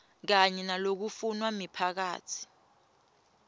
kanye nalokufunwa miphakatsi